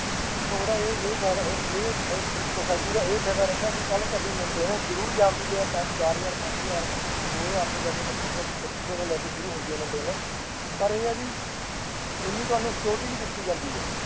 ਤੇ ਉਹਦਾ ਇਹ ਇਹ ਫ਼ਾਇਦਾ ਇਹ ਇਹ society ਦਾ ਇਹ ਫਾਇਦਾ ਰਹਿੰਦਾ ਕਿ ਕੱਲ੍ਹ ਤੁਹਾਡੀ maintenance ਜ਼ਰੂਰ ਚੱਲਦੀ ਹੈ ਪੰਜ ਚਾਰ ਹਜ਼ਾਰ, ਪੰਜ ਹਜ਼ਾਰ, ਦੋ ਹਜ਼ਾਰ ਤੋਂ ਲੈ ਕੇ ਪੱਚੀ ਸੌ, ਪੱਚੀ ਸੌ ਤੋਂ ਲੈ ਕੇ ਸ਼ੁਰੂ ਹੁੰਦੀ ਹੈ maintenance ਪਰ ਇਹ ਆ ਵੀ ਉਨੀ ਤੁਹਾਨੂੰ security ਵੀ ਦਿੱਤੀ ਜਾਂਦੀ ਹੈ,